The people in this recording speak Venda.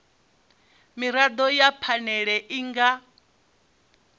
mirado ya phanele i nga